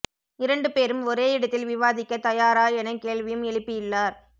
இரண்டு பேரும் ஒரே இடத்தில் விவாதிக்க தயாரா என கேள்வியும் எழுப்பியுள்ளார்